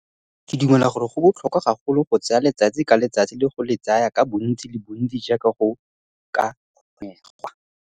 La ntlha, ke dumela gore go botlhokwa gagolo go tsaya letsatsi ka letsatsi le go le tsaya ka bontsi le bontsi jaaka go ka kgonegwa!